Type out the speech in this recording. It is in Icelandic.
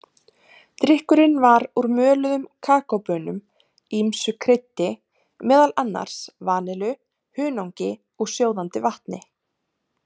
Drykkurinn var úr möluðum kakóbaunum, ýmsu kryddi, meðal annars vanillu, hunangi og sjóðandi vatni.